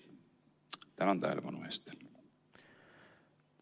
Tänan tähelepanu eest!